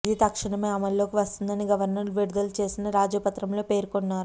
ఇది తక్షణమే అమలులోకి వస్తుందని గవర్నర్ విడుదల చేసిన రాజపత్రంలో పేర్కొన్నారు